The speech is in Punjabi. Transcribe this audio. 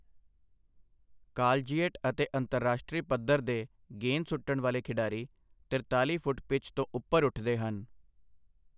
ਕਾਲਜੀਏਟ ਅਤੇ ਅੰਤਰਰਾਸ਼ਟਰੀ ਪੱਧਰ ਦੇ ਗੇਂਦ ਸੁੱਟਣ ਵਾਲੇ ਖਿਡਾਰੀ ਤਿਰਤਾਲੀ ਫੁੱਟ ਪਿੱਚ ਤੋਂ ਉੱਪਰ ਉੱਠਦੇ ਹਨ।